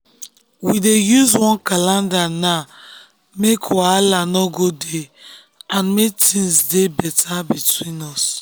we dey use one calendar now make wahala no go dey and make things dey dey better between us.